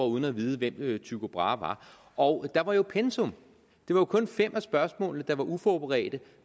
uden at vide hvem tycho brahe var og der var jo et pensum det var kun fem af spørgsmålene der var uforberedte